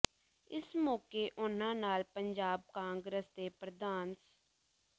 ਇਸ ਮੌਕੇ ਉਨ੍ਹਾਂ ਨਾਲ ਪੰਜਾਬ ਕਾਂਗਰਸ ਦੇ ਪ੍ਰਧਾਨ ਸ